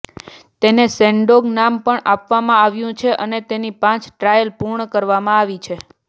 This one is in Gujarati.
તેને શેનડોંગ નામ પણ આપવામાં આવ્યું છે અને તેની પાંચ ટ્રાયલ પૂર્ણ કરવામાં આવી છે